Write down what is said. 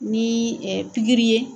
Ni pkiri ye.